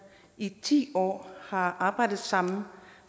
i hele ti år har arbejdet sammen